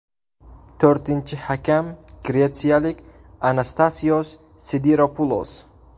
To‘rtinchi hakam gretsiyalik Anastasios Sidiropulos.